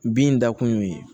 Bin da kun y'o ye